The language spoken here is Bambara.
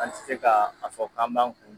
An tɛ se ka a fɔ k'an b'an kun